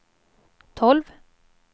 tolv